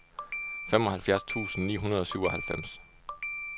femoghalvfjerds tusind ni hundrede og syvoghalvfems